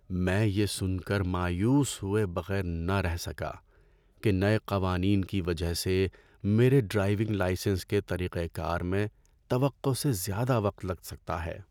‏میں یہ سن کر مایوس ہوئے بغیر نہ رہ سکا کہ نئے قوانین کی وجہ سے میرے ڈرائیونگ لائسنس کے طریقہ کار میں توقع سے زیادہ وقت لگ سکتا ہے۔